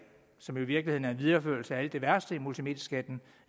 som i virkeligheden er en videreførelse af alt det værste i multimedieskatten